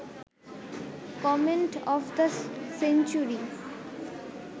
comet of the century